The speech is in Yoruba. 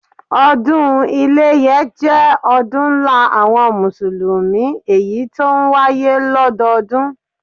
Ọdún iléyé jẹ́ ọdún ńlá àwọn mùsùlùmí èyí tó ń wáyé lọ́dọọdún